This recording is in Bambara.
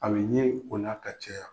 A bi ɲe o n'a ka cɛ.